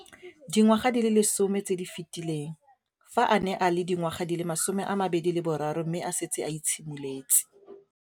Dingwaga di le 10 tse di fetileng, fa a ne a le dingwaga di le 23 mme a setse a itshimoletse